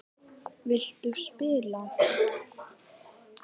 Viltu spila?